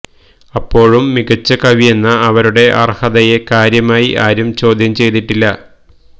അപ്പോഴും മികച്ച കവിയെന്ന അവരുടെ അർഹതയെ കാര്യമായി ആരും ചോദ്യം ചെയ്തിട്ടില്ല